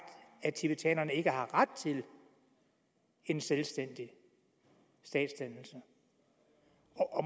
at tibetanerne ikke har ret til en selvstændig statsdannelse